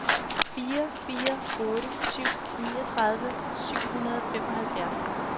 fire fire otte syv niogtredive syv hundrede og femoghalvfjerds